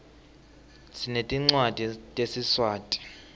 sinetincwadzi tesiswati